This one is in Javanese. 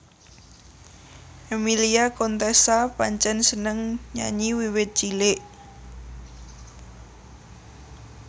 Emmilia Contessa pancen seneng nyanyi wiwit cilik